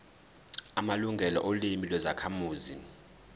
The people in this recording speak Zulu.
amalungelo olimi lwezakhamuzi